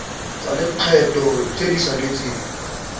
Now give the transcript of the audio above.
tsa lekgetho tse di saletseng